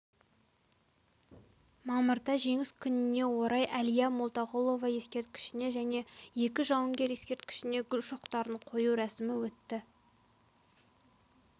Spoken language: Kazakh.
мамырда жеңіс күніне орай әлия молдағұлова ескерткішіне және екі жауынгер ескерткішіне гүл шоқтарын қою рәсімі өтті